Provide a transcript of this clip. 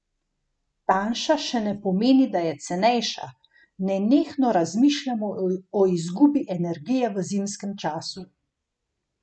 Tanjša še ne pomeni, da je cenejša: 'Nenehno razmišljamo o izgubi energije v zimskem času.